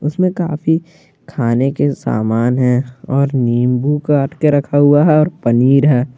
इसमें काफी खाने के सामान है और नींबु काट के रखा हुआ है और पनीर है।